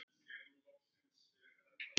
Les blöðin.